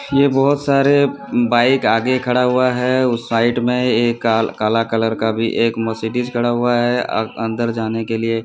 ये बहोत सारे बाइक आगे खड़ा हुआ है। उसे साइड में एक काल काला कलर का भी एक मर्सिडीज़ खड़ा हुआ है और अंदर जाने के लिए--